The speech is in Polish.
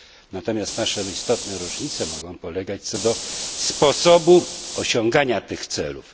Natomiast nasze istotne różnice mogą polegać na sposobie osiągania tych celów.